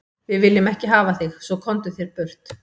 Við viljum ekki hafa þig svo, komdu þér burt.